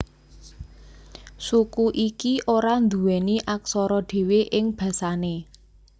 Suku iki ora nduweni aksara dhewe ing basane